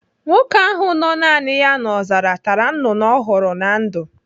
Nwoke ahụ nọ naani ya n'ọzara tara nnụnụ ọ hụrụ na ndụ.